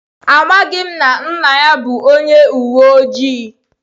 Amaghị m na nna ya bụ onye uwe ojii.